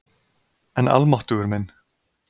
En almáttugur minn.